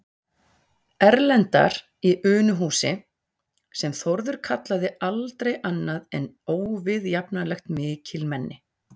Erlendar í Unuhúsi, sem Þórður kallaði aldrei annað en óviðjafnanlegt mikilmenni.